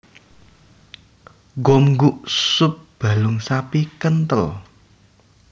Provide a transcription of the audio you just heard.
Gomguk sup balung sapi kenthel